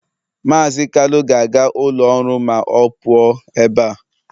Mazị Kalu ga-aga ụlọ ọrụ ma ọ pụọ ebe a